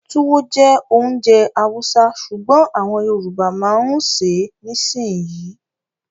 Túwó jẹ́ ounjẹ Hausa sùgbón àwọn Yorùbá ma ń ṣè é nisinyi